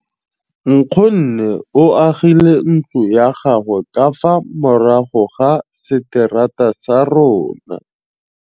Nkgonne o agile ntlo ya gagwe ka fa morago ga seterata sa rona.